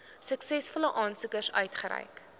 suksesvolle aansoekers uitgereik